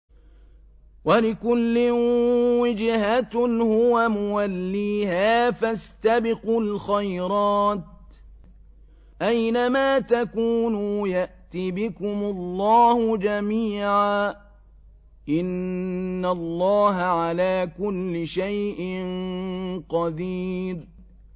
وَلِكُلٍّ وِجْهَةٌ هُوَ مُوَلِّيهَا ۖ فَاسْتَبِقُوا الْخَيْرَاتِ ۚ أَيْنَ مَا تَكُونُوا يَأْتِ بِكُمُ اللَّهُ جَمِيعًا ۚ إِنَّ اللَّهَ عَلَىٰ كُلِّ شَيْءٍ قَدِيرٌ